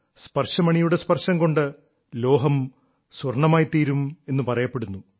സ്പർശമണിയുടെ സ്പർശം കൊണ്ട് ലോഹം സ്വർണ്ണമായിത്തീരുമെന്ന് പറയപ്പെടുന്നു